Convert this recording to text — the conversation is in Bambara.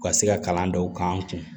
U ka se ka kalan dɔw k'an kun